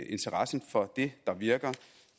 interessen for det der virker